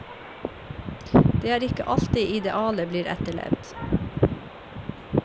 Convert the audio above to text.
Det er ikke alltid idealet blir etterlevd.